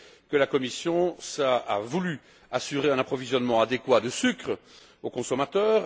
que la Commission a voulu assurer un approvisionnement adéquat en sucre aux consommateurs.